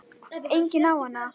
Enginn á hana.